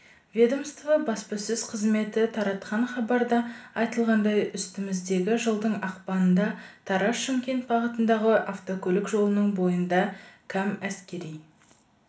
ведомство баспасөз қызметі таратқан хабарда айтылғандай үстіміздегі жылдың ақпанында тараз-шымкент бағытындағы автокөлік жолының бойында кам әскери